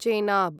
Chenab